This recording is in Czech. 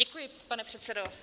Děkuji, pane předsedo.